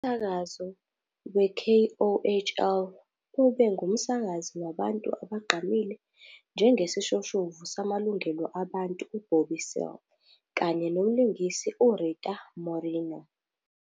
Umsakazo we-KOHL ube ngumsakazi wabantu abagqamile njengesishoshovu samalungelo abantu u- Bobby Seale kanye nomlingisi uRita Moreno.